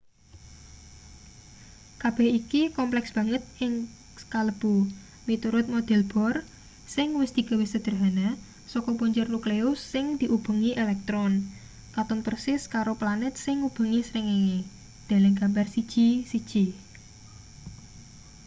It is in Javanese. kabeh iki kompleks banget sing kalebu miturut model bohr sing wis digawe sedehana saka punjer nukleus sing diubengi elektron katon persis karo planet sing ngubengi srengenge deleng gambar 1.1